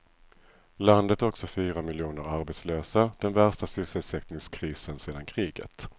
Landet har också fyra miljoner arbetslösa, den värsta sysselsättningskrisen sedan kriget.